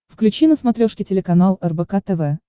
включи на смотрешке телеканал рбк тв